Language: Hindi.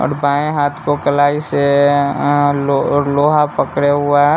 और बाएँ हाथ को कलाई से अ लो लोहा पकड़े हुआ है।